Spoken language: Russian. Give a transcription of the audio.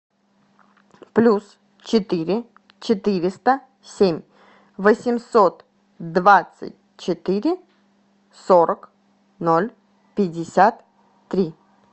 плюс четыре четыреста семь восемьсот двадцать четыре сорок ноль пятьдесят три